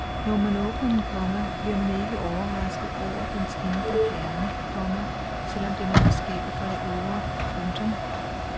Når man åbner den, komma bliver man ikke overrasket over dens indre kerne, komma selv om den er forskellig fra det ydre. punktum